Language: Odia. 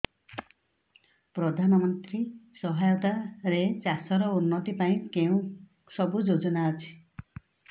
ପ୍ରଧାନମନ୍ତ୍ରୀ ସହାୟତା ରେ ଚାଷ ର ଉନ୍ନତି ପାଇଁ କେଉଁ ସବୁ ଯୋଜନା ଅଛି